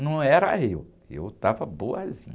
Não era eu, eu estava boazinha.